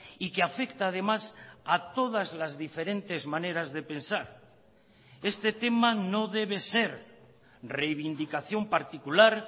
y que afecta además a todas las diferentes maneras de pensar este tema no debe ser reivindicación particular